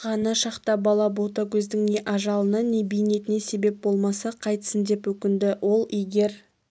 ған шақта бала ботагөздің не ажалына не бейнетіне себеп болмаса қайтсін деп өкінді ол егер